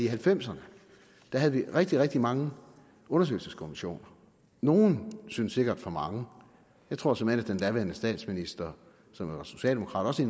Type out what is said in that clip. halvfemserne havde vi rigtig rigtig mange undersøgelseskommissioner nogle synes sikkert for mange jeg tror såmænd at den daværende statsminister som var socialdemokrat også